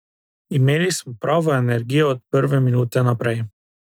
Imeli smo pravo energijo od prve minute naprej.